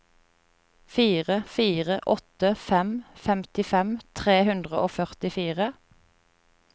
fire fire åtte fem femtifem tre hundre og førtifire